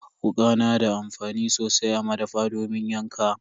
Wuka na da amfani sosai a madafa domin yanka.